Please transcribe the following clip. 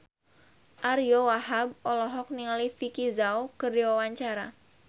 Ariyo Wahab olohok ningali Vicki Zao keur diwawancara